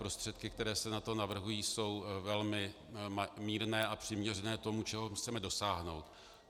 Prostředky, které se na to navrhují, jsou velmi mírné a přiměřené tomu, čeho chceme dosáhnout.